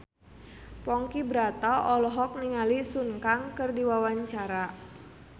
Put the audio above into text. Ponky Brata olohok ningali Sun Kang keur diwawancara